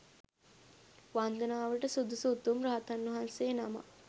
වන්දනාවට සුදුසු උතුම් රහතන් වහන්සේ නමක්.